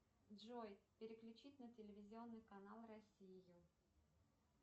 джой переключить на телевизионный канал россию